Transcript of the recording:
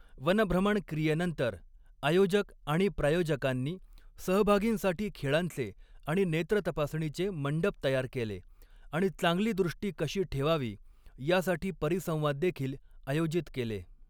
वनभ्रमण क्रियेनंतर, आयोजक आणि प्रायोजकांनी सहभागींसाठी खेळांचे आणि नेत्र तपासणीचे मंडप तयार केले आणि चांगली दृष्टी कशी ठेवावी यासाठी परिसंवाद देखील आयोजित केले.